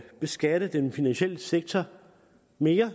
beskatte den finansielle sektor mere